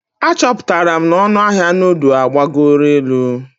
Achọpụtara m na ọnụ ahịa nudu agbagoro elu.